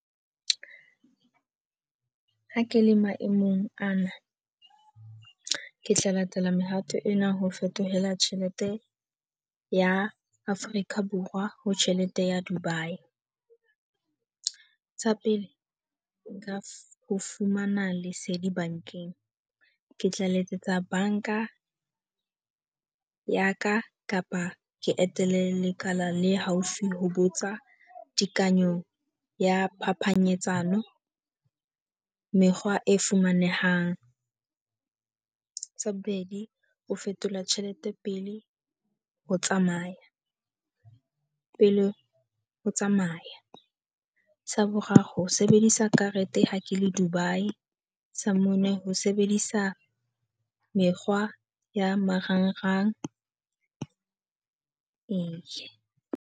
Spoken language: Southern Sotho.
Ha ke le maemong ana, ke tla latela mehato ena. Ho fetohela tjhelete ya Afrika Borwa ho tjhelete ya Dubai. Tsa pele, ka ho fumana lesedi bankeng, ke tla letsetsa banka ya ka kapa ke etele lekala le haufi ho botsa tekanyo ya phapanyetsano mekgwa e fumanehang. Sa bobedi, ho fetola tjhelete pele ho tsamaya pele o tsamaya. Sa boraro, ho sebedisa karete ha ke le Dubai. Sa mone, ho sebedisa mekgwa ya marangrang ee.